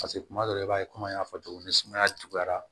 paseke kuma dɔw la i b'a ye kɔmi an y'a fɔ cogo min na ni sumaya juguyara